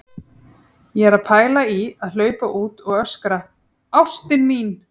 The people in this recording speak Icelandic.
Ég er að pæla í að hlaupa út og öskra: ÁSTIN MÍN!